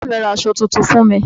Bàbá mi ra aṣọ tuntun fún mi.